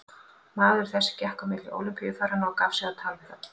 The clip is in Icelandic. Maður þessi gekk á milli Ólympíufaranna og gaf sig á tal við þá.